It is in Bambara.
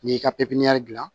N'i y'i ka pipiniyɛri gilan